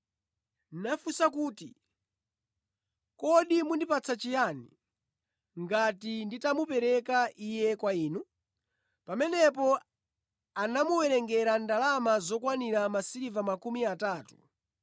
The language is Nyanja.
nafunsa kuti, “Kodi mundipatsa chiyani ngati nditamupereka Iye kwa inu?” Pamenepo anamuwerengera ndalama zokwanira masiliva makumi atatu.